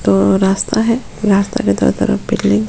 अ रास्ता है रास्ता दोनों तरफ --